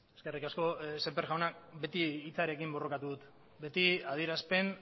eskerrik asko semper jauna beti hitzarekin borrokatu dut beti adierazpen